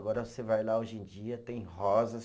Agora você vai lá hoje em dia, tem rosas.